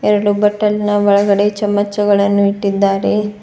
ಎರಡು ಬಟ್ಟಲಿನ ಒಳಗಡೆ ಚಮಚಗಳನ್ನು ಇಟ್ಟಿದ್ದಾರೆ.